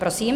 Prosím.